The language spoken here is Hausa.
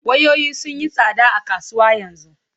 Wayoyi sun yi tsada a kasuwa yanzu.